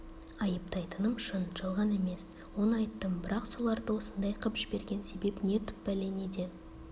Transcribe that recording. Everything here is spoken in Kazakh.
айыптайтыным шын жалған емес оны айттым бірақ соларды осындай қып жіберген себеп не түп бәле неден